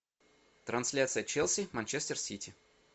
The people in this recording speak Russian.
трансляция челси манчестер сити